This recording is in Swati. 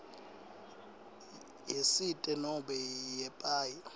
yesite nobe yepaye